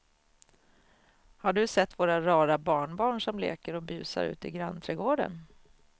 Har du sett våra rara barnbarn som leker och busar ute i grannträdgården!